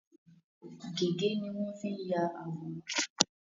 Gègé ni won n fii ya àwòrán